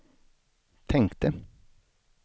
tänkte